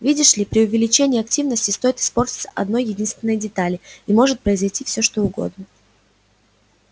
видишь ли при увеличении активности стоит испортиться одной-единственной детали и может произойти всё что угодно